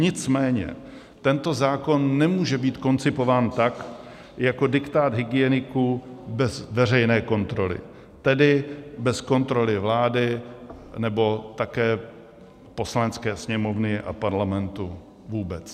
Nicméně tento zákon nemůže být koncipován tak jako diktát hygieniků bez veřejné kontroly, tedy bez kontroly vlády nebo také Poslanecké sněmovny a Parlamentu vůbec.